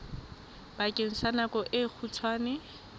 bakeng sa nako e kgutshwane